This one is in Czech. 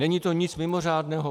Není to nic mimořádné.